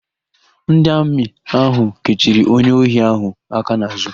Ndị Amị ahụ kechiri onye ohi ahụ aka n'àzụ́.